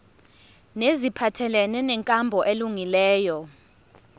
neziphathelene nenkambo elungileyo